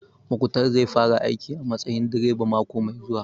Muktar zai fara aiki a matsayin direba mako mai zuwa